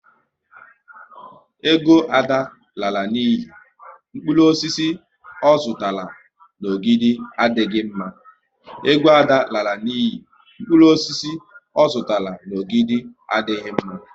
Ego Ada alala n'iyi, mkpụrụ osisi ọ zụtara n'Ogidi adịghị mma